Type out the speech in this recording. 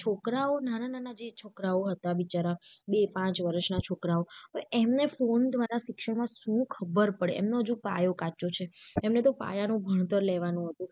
છોકરાઓ નાના નાના જે છોકરાઓ હતા બિચારા બે પાંચ વર્ષ ના છોકરાઓ તો એમને phone દ્વારા શિક્ષણ માં શું ખબર પડે એમનો જો પાયો કાચો છે એમને તો પાયા નું ભણતર લેવાનું હતું.